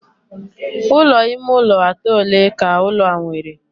Ulo ime ụlọ atọ ole ka ụlọ a nwere?